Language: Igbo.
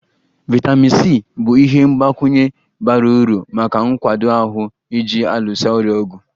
Vitamin C bụ ihe mgbakwunye bara uru maka nkwado ahụ ji alụso ọrịa ọgụ